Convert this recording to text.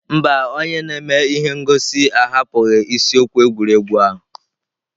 Mba, onye na-eme ihe ngosi ahapụghị isiokwu egwuregwu ahụ.